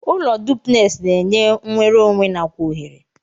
Ụlọ duplex na enye nwerụ onwe nakwa ohere.